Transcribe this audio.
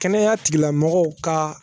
Kɛnɛya tigilamɔgɔw ka